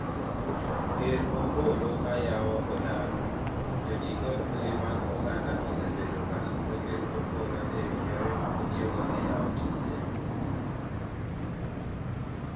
Ker Opollo ka yawo olalo, joti kod mbui mag oganda osebedo ka sundo ker Opollo ewi yore ma otiyogo e yawo tije